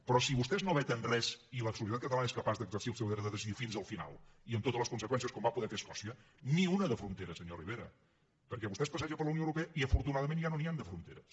però si vostès no veten res i la societat catalana és capaç d’exercir el seu dret de decidir fins al final i amb totes les conseqüències com va poder fer escòcia ni una de frontera senyor rivera perquè vostè es passeja per la unió europea i afortunadament ja no n’hi han de fronteres